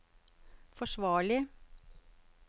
forsvarlig